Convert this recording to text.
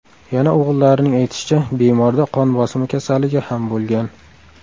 Yana o‘g‘illarining aytishicha, bemorda qon bosimi kasalligi ham bo‘lgan.